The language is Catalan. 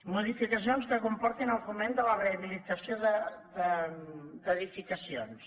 modificacions que comportin el foment de la rehabilitació d’edificacions